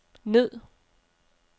ned